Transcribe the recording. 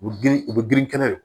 U bɛ girin u bɛ girin kɛnɛ